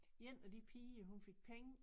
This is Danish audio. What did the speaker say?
En af de piger hun fik penge